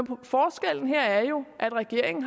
forskellen her er jo at regeringen